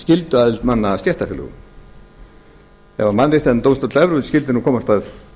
skylduaðild manna að stéttarfélögum ef mannréttindadómstóll evrópu skyldi nú komast að